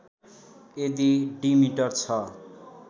यदि diameter छ